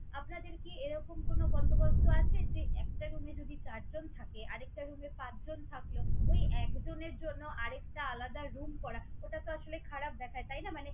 আপনাদের কি এরকম কোনো বন্দোবস্ত আছে যে, একটা room এ যদি চারজন থাকে আর একটা room এ পাঁচজন থাকলো। ঐ একজনের জন্য আর একটা আলাদা room করা ওটাতো আসলে খারাপ দেখায় তাইনা? মানে